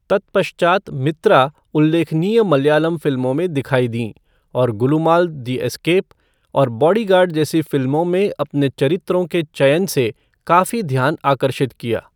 तत्पश्चात मित्रा उल्लेखनीय मलयालम फिल्मों में दिखाई दीं, और गुलुमाल द एस्केप और बॉडीगार्ड जैसी फिल्मों में अपने चरित्रों के चयन से काफी ध्यान आकर्षित किया।